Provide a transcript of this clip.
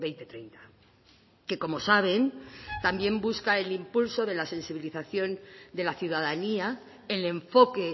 dos mil treinta que como saben también busca el impulso de la sensibilización de la ciudadanía el enfoque